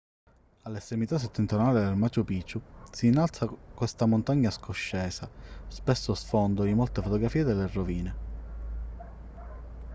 all'estremità settentrionale del machu picchu si innalza questa montagna scoscesa spesso sfondo di molte fotografie delle rovine